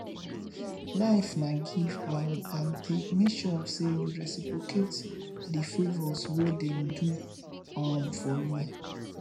life na give um and take make sure say you reciprocate the favours wey dem do um for you